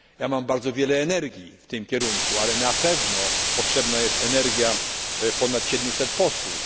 Mam bardzo wiele energii w tym kierunku, ale na pewno potrzebna jest energia ponad 700 posłów.